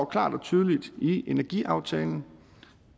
klart og tydeligt i energiaftalen